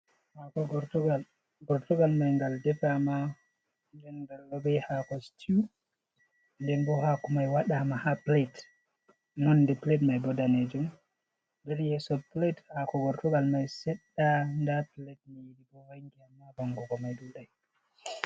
Hako gortugal. Gortogalmai ngal defa ma. Ɗen be hako situ. den bo hako mai waɗama ha pilet nonɗe pilat mai bo ɗanejum. der yeso pilat hako gortugal mai seɗɗa da pliat mi yidi bo wangiya ma bango go mai duɗai.